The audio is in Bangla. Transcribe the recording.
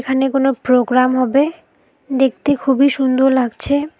এখানে কোনো প্রোগ্রাম হবে দেখতে খুবই সুন্দর লাগছে।